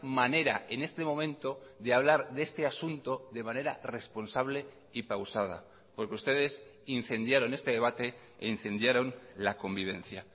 manera en este momento de hablar de este asunto de manera responsable y pausada porque ustedes incendiaron este debate e incendiaron la convivencia